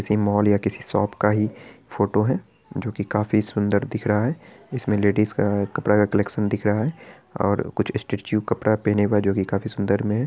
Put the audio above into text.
किसी मॉल या किसी शॉप का फोटो है जो के काफी सुंदर दिख रहा है| इसमें लेडिज का कपड़े का कलेक्शन दिख रहा है और कुछ स्टैचू कपड़ा पहने हुए है जो काफी सुंदर में है।